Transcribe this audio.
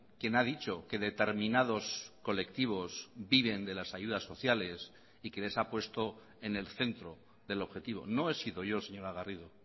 quien ha dicho que determinados colectivos viven de las ayudas sociales y que les ha puesto en el centro del objetivo no he sido yo señora garrido